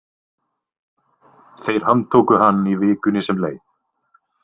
Þeir handtóku hann í vikunni sem leið.